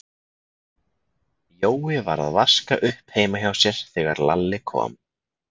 Jói var að vaska upp heima hjá sér þegar Lalli kom.